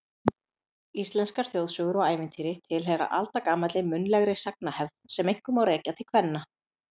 Íslenskar þjóðsögur og ævintýri tilheyra aldagamalli munnlegri sagnahefð sem einkum má rekja til kvenna.